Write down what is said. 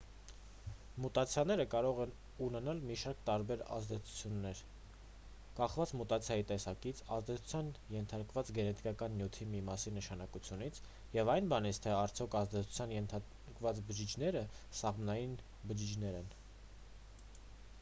մուտացիաները կարող են ունենալ մի շարք տարբեր ազդեցություններ կախված մուտացիայի տեսակից ազդեցության ենթարկված գենետիկական նյութի մի մասի նշանակությունից և այն բանից թե արդյոք ազդեցության ենթարկված բջիջները սաղմնային բջիջներ են